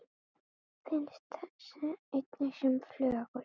Finnst einnig sem flögur.